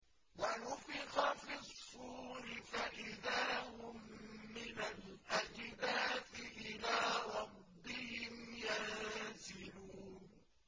وَنُفِخَ فِي الصُّورِ فَإِذَا هُم مِّنَ الْأَجْدَاثِ إِلَىٰ رَبِّهِمْ يَنسِلُونَ